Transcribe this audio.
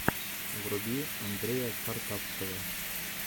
вруби андрея картавцева